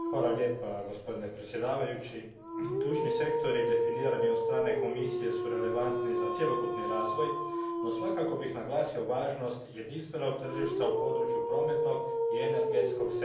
Gospodine predsjedniče, ključni sektori definirani od strane Komisije su relevantni za cjelokupni razvoj, no svakako bih naglasio važnost jedinstvenog tržišta u području prometnog i energetskog sektora.